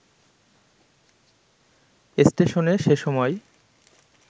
ষ্টেশনে সে সময়